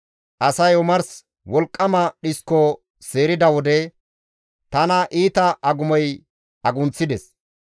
Asay omars wolqqama dhisko seerida wode, tana iita agumoy agunththides.